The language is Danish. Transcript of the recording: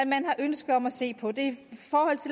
man har ønske om at se på det